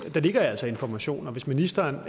ligger altså informationer og hvis ministeren